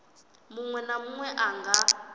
munwe na munwe a nga